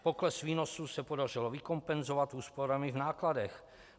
Pokles výnosů se podařilo vykompenzovat úsporami v nákladech.